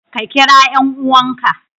Ka kira 'yan'uwanka.